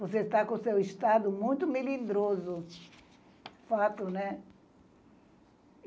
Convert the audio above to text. Você está com o seu estado muito melindroso, fato, né?